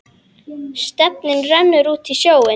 Stefnið rennur út í sjóinn.